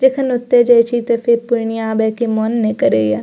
जखन ओयता जाय छी ते फिर पूर्णिया आबे के मन ने करे या।